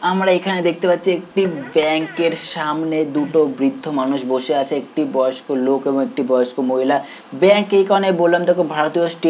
আমরা এখানে দেখতে পাচ্ছি একটি ব্যাংক এর সামনে দুটো বৃদ্ধ মানুষ বসে আছে একটি বয়স্ক লোক এবং একটি বয়স্ক মহিলা ব্যাংক এখানে বললাম তোকে ভারতীয় স্টে--